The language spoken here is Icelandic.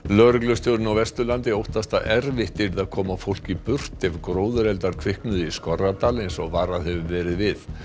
lögreglustjórinn á Vesturlandi óttast að erfitt yrði að koma fólki burt ef gróðureldar kviknuðu í Skorradal eins og varað hefur verið við